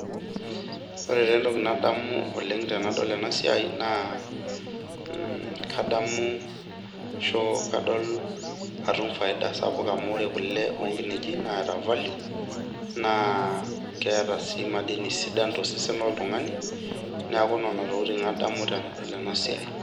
Ore taa entoki sapuk nadamu tenadol ena siai naa kadamu faida sapuk amu ore kule onkinejik naa keeta value , neetae sii madini sidain tosesen, niaku nena tokitin adamu tenadol ena siai